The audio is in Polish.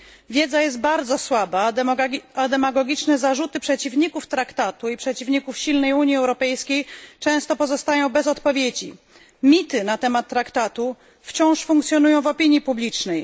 Wiedza jest bardzo słaba, a demagogiczne zarzuty przeciwników traktatu i przeciwników silnej Unii Europejskiej często pozostają bez odpowiedzi. Mity na temat traktatu wciąż funkcjonują w opinii publicznej.